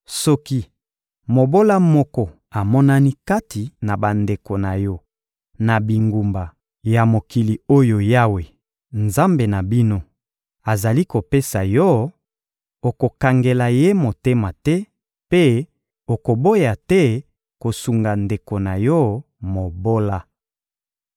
Soki mobola moko amonani kati na bandeko na yo na bingumba ya mokili oyo Yawe, Nzambe na bino, azali kopesa yo; okokangela ye motema te mpe okoboya te kosunga ndeko na yo mobola.